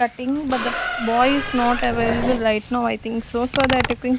cutting but the boy is not available right now I think so so that --